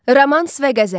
Romans və qəzəl.